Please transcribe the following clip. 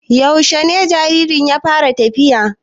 Yaushe jaririn ya fara tafiya?